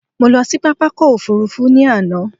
Mo lọ sí pápákọ̀ òfurufú ní àná.